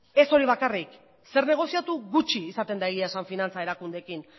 ez hori bakarrik zer negoziatu gutxi izaten da egia esan finantza erakundeekin